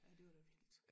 Ej det var da vildt